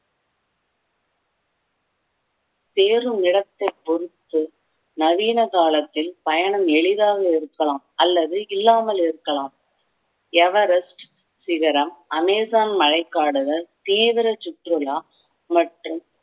சேரும் இடத்தை பொறுத்து நவீன காலத்தில் பயணம் எளிதாக இருக்கலாம் அல்லது இல்லாமல் இருக்கலாம் எவரஸ்ட் சிகரம் அமேசான் மழைக்காடுகள் தீவிர சுற்றுலா மற்றும்